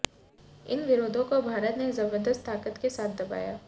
इन विरोधों को भारत ने जबरदस्त ताकत के साथ दबाया